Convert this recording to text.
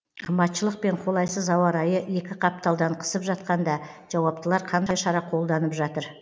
қымбатшылық пен қолайсыз ауа райы екі қапталдан қысып жатқанда жауаптылар қандай шара қолданып жатыр